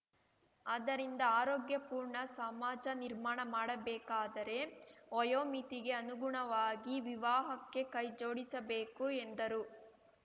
ಆದ್ದರಿಂದ ಆರೋಗ್ಯ ಪೂರ್ಣ ಸಮಾಜ ನಿರ್ಮಾಣ ಮಾಡಬೇಕಾದರೆ ವಯೋಮಿತಿಗೆ ಅನುಗುಣವಾಗಿ ವಿವಾಹಕ್ಕೆ ಕೈಜೋಡಿಸಬೇಕು ಎಂದರು